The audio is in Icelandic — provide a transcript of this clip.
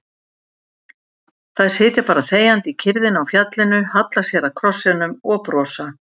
Þær sitja bara þegjandi í kyrrðinni á fjallinu, halla sér að krossinum og brosa.